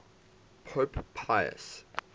pope pius